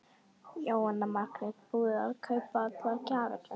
Jóhanna Margrét: Búið að kaupa allar gjafirnar?